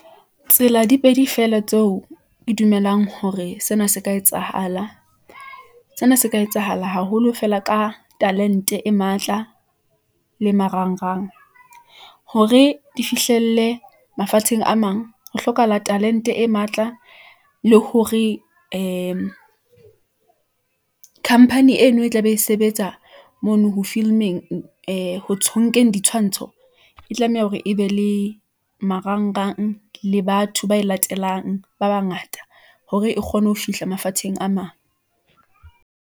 Tsela di pedi fela tseo ke dumelang hore, sena se ka etsahala . Sena se ka etsahala haholo fela ka talent-e e matla , le marangrang , hore di fihlelle mafatsheng a mang, ho hlokahala talent-e e matla , le hore ee company eno e tlabe e sebetsa , mono ho film-eng, ee ho ditshwantsho , e tlameha hore e be le marangrang, le batho ba e latelang , ba bangata hore e kgone ho fihla mafatsheng a mang.